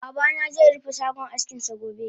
Babana ze rufe shagon askinsa gobe